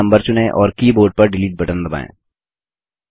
फिर नम्बर चुनें और कीबोर्ड पर डिलीट बटन दबाएँ